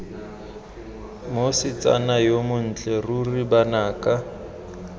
mosetsana yo montle ruri banaka